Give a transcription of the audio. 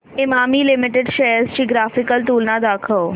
Emami limited shares ची graphical तुलना दाखव